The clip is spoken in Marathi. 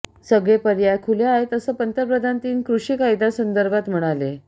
सगळे पर्याय खुले आहेत असं पंतप्रधान तीन कृषी कायद्यांसंदर्भात म्हणाले